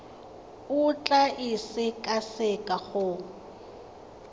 o tla e sekaseka go